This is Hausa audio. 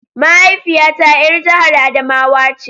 Mahaifiyata ‘yar jihar Adamawa ce.